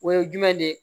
O ye jumɛn de ye